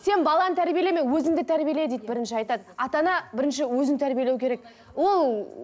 сен баланы тәрбиелеме өзіңді тәрбиеле дейді бірінші айтады ата ана бірінші өзін тәрбиелеу керек ол ы